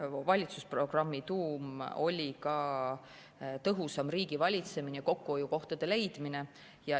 Valitsusprogrammi tuum oli tõhusam riigivalitsemine ja kokkuhoiukohtade leidmine.